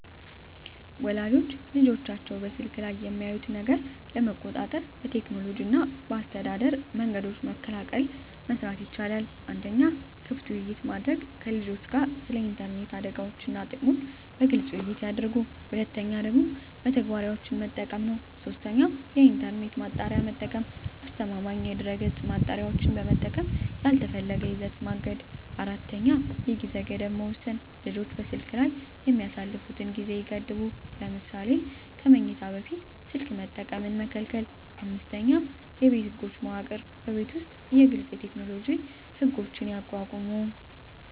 ወላጆች ልጆቻቸው በስልክ ላይ የሚያዩትን ነገር ለመቆጣጠር በቴክኖሎጂ እና በአስተዳደር መንገዶች በመቀላቀል መስራት ይቻላል። 1. ክፍት ውይይት ማድረግ ከልጆችዎ ጋር ስለ ኢንተርኔት አደጋዎች እና ጥቅሞች በግልፅ ውይይት ያድርጉ። 2. መተግበሪያዎች መጠቀም 3. የኢንተርኔት ማጣሪያ መጠቀም አስተማማኝ የድህረገፅ ማጣሪያዎችን በመጠቀም ያልተፈለገ ይዘት ማገድ 4. የጊዜ ገደብ መወሰን ልጆች በስልክ ላይ የሚያሳልፉትን ጊዜ ይገድቡ። ለምሳሌ ከመኝታ በፊት ስልክ መጠቀም መከልከል። 5የቤት ህጎች መዋቅር በቤት ውስጥ ግልፅ የቴክኖሎጂ ህጎች ያቋቁሙ።